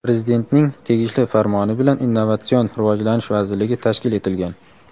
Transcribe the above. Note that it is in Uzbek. Prezidentning tegishli Farmoni bilan Innovatsion rivojlanish vazirligi tashkil etilgan.